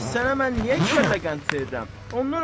Bəs sənə mən niyə iki kəllə qənd verirəm?